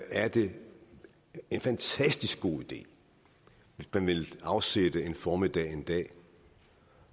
er det en fantastisk god idé hvis man vil afsætte en formiddag en dag